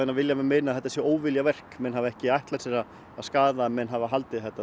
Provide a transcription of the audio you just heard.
vilja menn meina að þetta sé óviljaverk menn hafi ekki ætlað sér að skaða hafa haldið að þetta